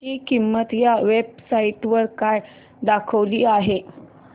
ची किंमत या वेब साइट वर काय दाखवली आहे